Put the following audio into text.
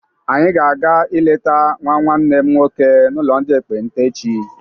Anyị ga-aga ileta nwa nwanne m nwoke n'ụlọ ndị ekpenta echi.